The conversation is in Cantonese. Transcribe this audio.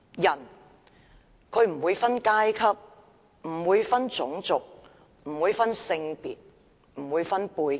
法治不會分階級、種族、性別和背景。